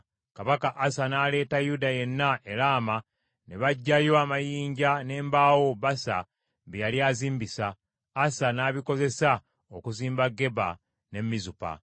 Kabaka Asa n’aleeta Yuda yenna e Laama, ne baggyayo amayinja n’embaawo Baasa bye yali azimbisa, Asa n’abikozesa okuzimba Geba ne Mizupa.